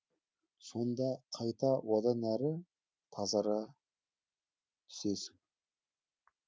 сонда қайта одан әрі тазара түсесің